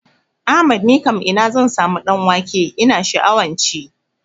Ahmad nikam ina zan samu ɗan wake ina sha'awan ci?